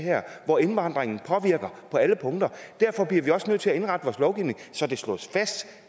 hvor indvandringen påvirker på alle punkter derfor bliver vi også nødt til at indrette vores lovgivning så det slås fast at